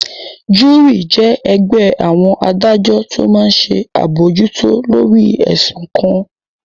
Júúrì jẹ́ ẹgbẹ́ àwọn adájọ́ tó máa n ṣe àbojútó lórí ẹ̀sùn kan